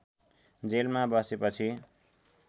जेलमा बसेपछि